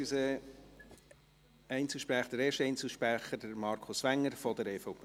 Erster Einzelsprecher ist Markus Wenger von der EVP.